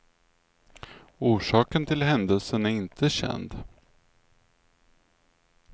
Orsaken till händelsen är inte känd.